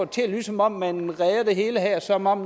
til at lyde som om man redder det hele her som om